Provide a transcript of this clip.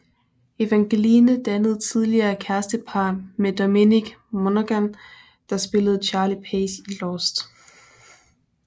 Evangeline dannede tidligere kærestepar med Dominic Monaghan der spillede Charlie Pace i Lost